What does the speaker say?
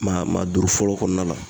Maa maa duuru fɔlɔ kɔnɔna la